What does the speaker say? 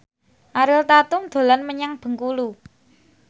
Ariel Tatum dolan menyang Bengkulu